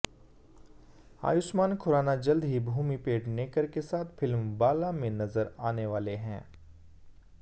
आयुष्मान खुराना जल्द ही भूमि पेडनेकर के साथ फिल्म बाला में नजर आने वाले हैं